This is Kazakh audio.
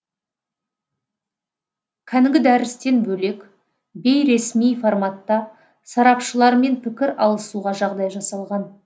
кәнігі дәрістен бөлек бейресми форматта сарапшылармен пікір алысуға жағдай жасалған